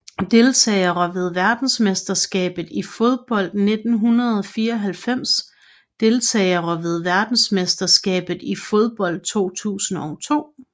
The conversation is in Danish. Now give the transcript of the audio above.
Deltagere ved verdensmesterskabet i fodbold 1994 Deltagere ved verdensmesterskabet i fodbold 2002